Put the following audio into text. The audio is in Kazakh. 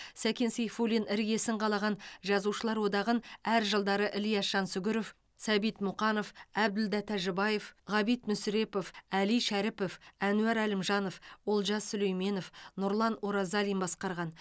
сәкен сейфуллин іргесін қалаған жазушылар одағын әр жылдары ілияс жансүгіров сәбит мұқанов әбділда тәжібаев ғабит мүсірепов әли шәріпов әнуар әлімжанов олжас сүлейменов нұрлан оразалин басқарған